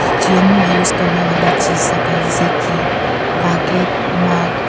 kitchen में use करने वाली चीज सब है जैसे कि बकेट मग --